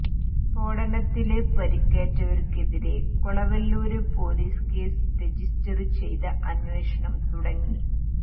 സ്ഫോടനത്തില് പരിക്കേറ്റവര്ക്കെതിരെ Kolavallur police case register ചെയ്ത് അന്വേഷണം തുടങ്ങി